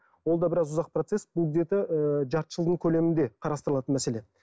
ол да біраз ұзақ процесс бұл где то ыыы жарты жылдың көлемінде қарастырылатын мәселе